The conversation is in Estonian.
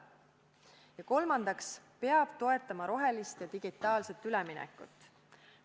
Ja kolmandaks, toetama peab rohelist ja digitaalset üleminekut.